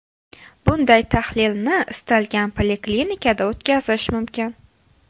Bunday tahlilni istalgan poliklinikada o‘tkazish mumkin.